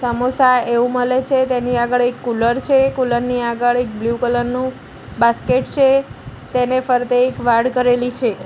સમોસા એવુ મલે છે તેની આગળ એક કુલર છે કુલર ની આગળ એક બ્લુ કલર નું બાસ્કેટ છે તેને ફરતે એક વાડ કરેલી છે.